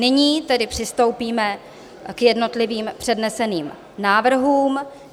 Nyní tedy přistoupíme k jednotlivým předneseným návrhům.